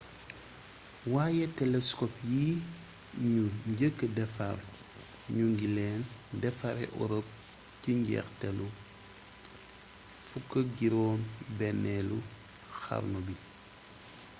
waaye telescope yi ñu njëkka defar ñu ngi leen defaree europe ci njeexte 16eelu xarnu bi